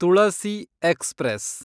Tulasi express